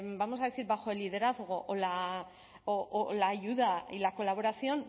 vamos a decir bajo el liderazgo o la ayuda y la colaboración